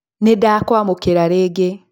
Nĩ ndakwamũkĩra rĩngĩ